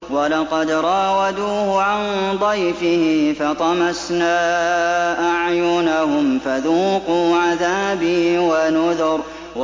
وَلَقَدْ رَاوَدُوهُ عَن ضَيْفِهِ فَطَمَسْنَا أَعْيُنَهُمْ فَذُوقُوا عَذَابِي وَنُذُرِ